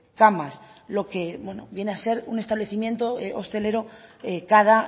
camas lo que viene a ser un establecimiento hostelero cada